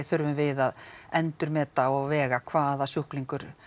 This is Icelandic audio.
þurfum við að endurmeta og vega hvaða sjúklingur